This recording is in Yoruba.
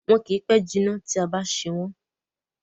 Wọn kì í pẹ́ jinná tí a bá ń ṣe wón.